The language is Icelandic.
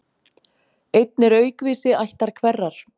Einn er aukvisi ættar hverrar.